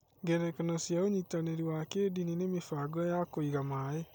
Ngerekano cia ũnyitanĩri wa kĩĩndini nĩ mĩbango ya kũiga maĩ.